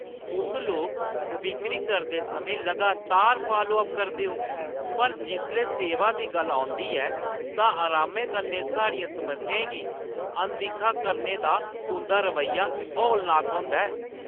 तुस लोक बिक्करी करदे समें लगातार फालो अप करदे ओ, पर जिसलै सेवा दी गल्ल होंदी ऐ, तां अरामै कन्नै साढ़ियें समस्याएं गी अनदिक्खा करने दा तुंʼदा रवैया हौलनाक होंदा ऐ।